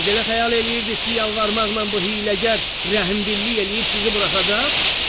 Siz elə xəyal eləyirdiz ki, yalvarmaqla bu hiyləgər rəhmdillik eləyib sizi buraxacaq?”